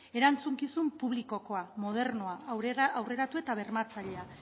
erantzukizun publikokoa modernoa aurreratua eta bermatzailea